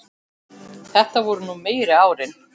Það voru nú meiri árin.